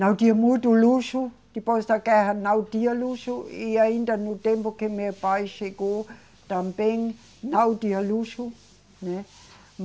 Não tinha muito luxo, depois da guerra não tinha luxo e ainda no tempo que meu pai chegou também não tinha luxo, né?